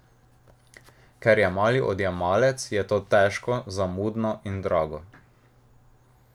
Ker je mali odjemalec, je to težko, zamudno in drago.